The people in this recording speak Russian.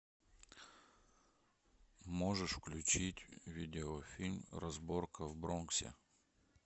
можешь включить видеофильм разборка в бронксе